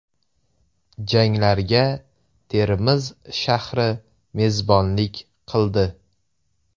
Janglarga Termiz shahri mezbonlik qildi.